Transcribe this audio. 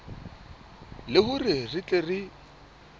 le hore re tle re